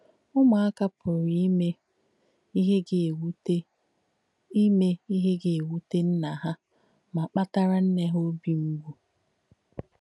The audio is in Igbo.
Ụ̀mùákà pùrū ìmē íhe gà-èwútè ìmē íhe gà-èwútè nnà hà mà kpàtàrà nnē hà óbì m̀gbù.